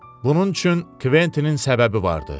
Bunun üçün Kventinin səbəbi vardı.